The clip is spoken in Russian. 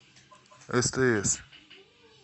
стс